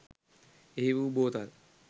එහි වූ බෝතල්